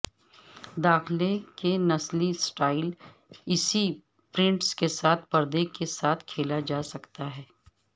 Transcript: داخلہ کے نسلی سٹائل اسی پرنٹس کے ساتھ پردے کے ساتھ کھیلا جا سکتا ہے